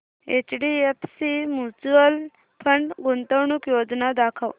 HDFC mutual fund गुंतवणूक योजना दाखव